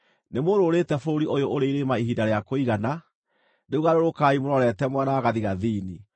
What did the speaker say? “Nĩmũrũũrĩte bũrũri ũyũ ũrĩ irĩma ihinda rĩa kũigana; rĩu garũrũkai mũrorete mwena wa gathigathini.